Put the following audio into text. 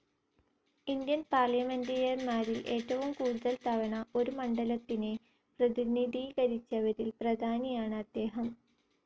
Indian പാർലിമെൻറ്റേറിയന്മാരിൽ ഏറ്റവും കൂടുതൽ തവണ ഒരു മണ്ഡലത്തിനെ പ്രതിനിധീകരിച്ചവരിൽ പ്രധാനി ആണ് അദ്ദേഹം.